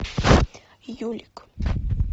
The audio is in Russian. юлик